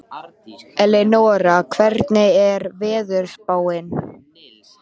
Elínora, hvernig er veðurspáin?